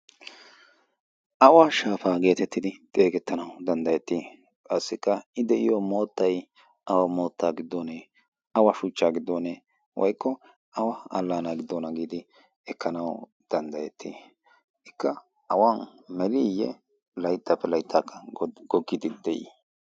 awa shaafaa geetettidi xeegettanau danddayettii qassikka i de'iyo moottay awa moottaa giddoonee awa shuchchaa giddoonee woykko awa allaana giddona giidi ekkanawu danddayettii ikka awan meliiyye layttaappe layttaakka goggidi de'ii